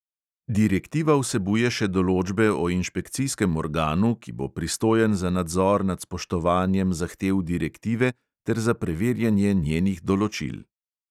Direktiva vsebuje še določbe o inšpekcijskem organu, ki bo pristojen za nadzor nad spoštovanjem zahtev direktive ter za preverjanje njenih določil.